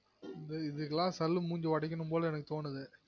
ம்ம் இதுகெல்லாம் கல்லு மூன்சி ஒடைகுனும் போல எனக்கு தோனுது